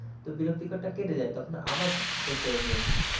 তো বিরক্তিকর টা কেটে যায়, তখন আবার পড়তে আমি বসি।